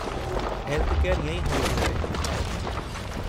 Healthcare ईंअ ई हुअणु घुरिजे।